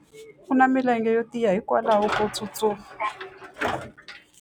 U na milenge yo tiya hikwalaho ko tsustuma.